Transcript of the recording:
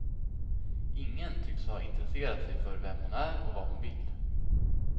Ingen tycks ha intresserat sig för vem hon är och vad hon vill.